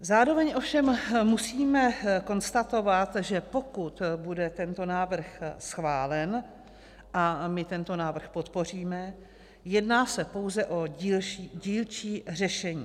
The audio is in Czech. Zároveň ovšem musím konstatovat, že pokud bude tento návrh schválen, a my tento návrh podpoříme, jedná se pouze o dílčí řešení.